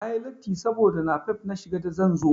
Na yi latti saboda napep na shiga da zan zo.